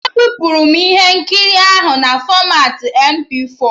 E bipuru m ihe nkiri ahụ na fọmatị MP4